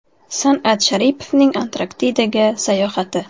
San’at Sharipovning Antarktidaga sayohati.